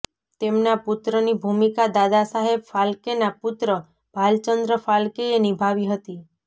તેમના પુત્રની ભૂમિકા દાદા સાહેબ ફાલ્કેનાં પુત્ર ભાલચન્દ્ર ફાલ્કેએ નિભાવી હતી